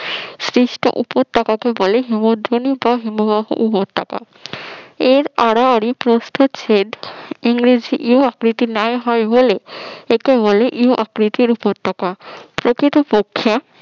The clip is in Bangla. সৃষ্ট উপত্যকাকে বলে হিমদ্রোণী বা হিমবাহ উপত্যকা এর আড়াআড়ি প্রস্তুচ্ছেদ ইংরেজি ইউ আকৃতির ন্যায় হয় বলে একে বলে ইউ আকৃতির উপত্যকা প্রকৃতপক্ষে